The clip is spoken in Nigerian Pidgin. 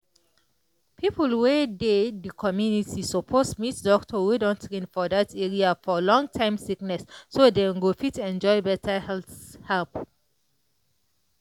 people wey dey the community suppose meet doctor wey don train for that area for long-time sickness so dem go fit enjoy better health help.